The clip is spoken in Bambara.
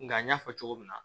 Nka n y'a fɔ cogo min na